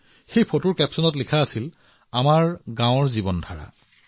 তেওঁ ফটোখনৰ শিৰোনাম লিখিছিল মোৰ গাঁৱৰ জীৱনধাৰা